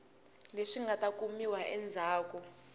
leswi nga ta kumiwa endzhaku